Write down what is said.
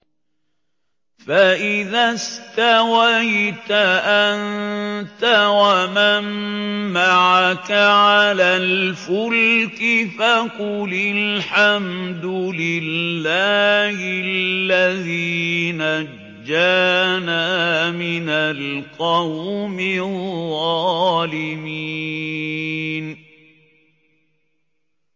فَإِذَا اسْتَوَيْتَ أَنتَ وَمَن مَّعَكَ عَلَى الْفُلْكِ فَقُلِ الْحَمْدُ لِلَّهِ الَّذِي نَجَّانَا مِنَ الْقَوْمِ الظَّالِمِينَ